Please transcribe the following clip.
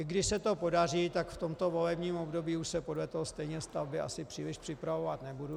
I když se to podaří, tak v tomto volebním období už se podle toho stejně stavby asi příliš připravovat nebudou.